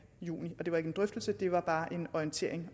juni og det var ikke en drøftelse det var bare en orientering